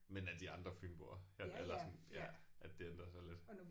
Men af de andre fynboer eller eller sådan ja at det ændrer sig lidt